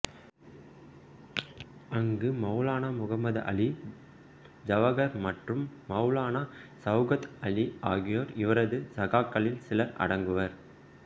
அங்கு மௌலானா முஹம்மது அலி ஜவ்ஹர் மற்றும் மௌலானா சௌகத் அலி ஆகியோர் இவரது சகாக்களில் சிலர் அடங்குவர்